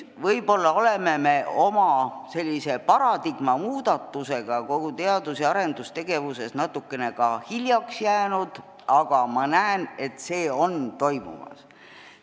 Võib-olla me oleme oma paradigma muudatusega kogu teadus- ja arendustegevuses natukene ka hiljaks jäänud, aga ma näen, et see on toimumas.